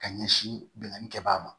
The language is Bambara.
Ka ɲɛsin binkanni kɛbaga ma